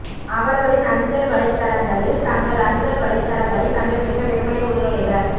அவர்களின் அஞ்சல் வலைத்தளங்களில் தங்கள் அஞ்சல் வலைத்தளங்களைக் கண்டுபிடிக்க வெறுமனே உள்நுழைக